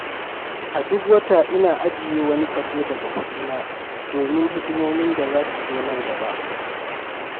A duk wata, ina ajiye wani kaso daga kuɗina domin hidimomin da zasu zo nan gaba.